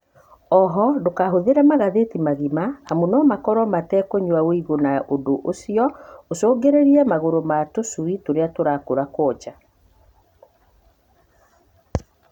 O ho, ndũkahũthĩre magathĩti magima, amu no makorwo matekũnywa ũigũ na ũndũ ũcio ũcũngĩrĩrie magũrũ ma tũcui tũrĩa tũrakũra kwonja.